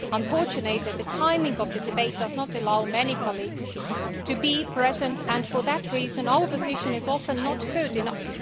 Unfortunately, the timing of the debate does not allow many colleagues to be present, and for that reason our position is often not heard enough.